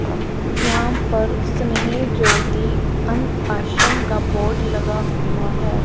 यहां पर स्नेह ज्योति अन आश्रम का बोर्ड लगा हुआ है।